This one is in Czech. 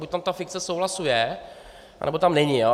Buď tam ta fikce souhlasu je, anebo tam není.